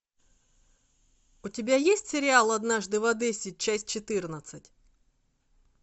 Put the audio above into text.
у тебя есть сериал однажды в одессе часть четырнадцать